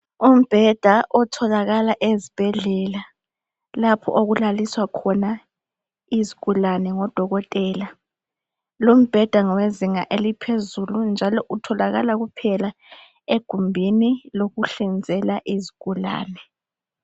Umbeda otholakala ezibhedlela lapho okulaliswa izigulane ngodokotela, lumbheda ngowezinga eliphezulu njalo utholakala egumbini lokuhlinzela izigulane